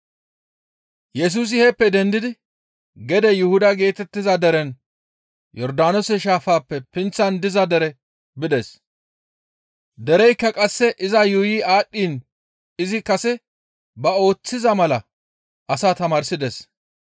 Yesusi heeppe dendidi gede Yuhuda geetettiza derenne Yordaanoose shaafappe pinththan diza dere bides. Dereykka qasse iza yuuyi aadhdhiin izi kase ba ooththiza mala asaa tamaarsides.